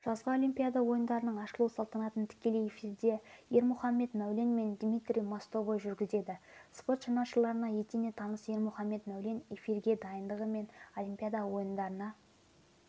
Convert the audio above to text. жазғы олимпиада ойындарының ашылу салтанатын тікелей эфирдеермұхамед мәуленмендмитрий мостовойжүргізеді спорт жанашырларына етене таныс ермұхамед мәулен эфирге дайындығы мен олимпиада ойындарына